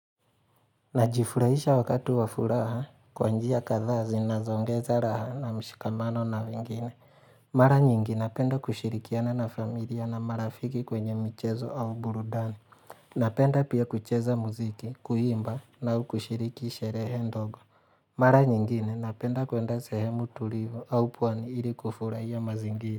Najifurahisha wakatu wafuraha kwanjia kadhaa zinazoongeza raha na mshikamano na wengine. Mara nyingine napenda kushirikiana na familia na marafiki kwenye michezo au burudani. Napenda pia kucheza muziki, kuimba au kushiriki sherehe ndogo. Mara nyingine napenda kwenda sehemu tulivu au pwani ili kufurahia mazingiri.